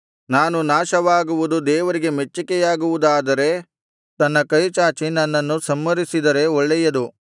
ನಾನು ನಾಶವಾಗುವುದು ದೇವರಿಗೆ ಮೆಚ್ಚಿಕೆಯಾಗುವುದಾದರೆ ತನ್ನ ಕೈ ಚಾಚಿ ನನ್ನನ್ನು ಸಂಹರಿಸಿದರೆ ಒಳ್ಳೆಯದು